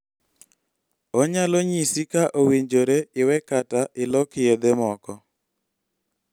Onyalo nyisi ka owinjore iwe kata ilok yedhe moko.